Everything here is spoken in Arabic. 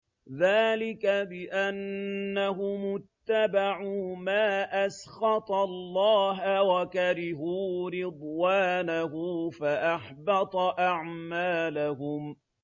ذَٰلِكَ بِأَنَّهُمُ اتَّبَعُوا مَا أَسْخَطَ اللَّهَ وَكَرِهُوا رِضْوَانَهُ فَأَحْبَطَ أَعْمَالَهُمْ